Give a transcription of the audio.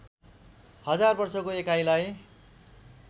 हजार वर्षको एकाइलाई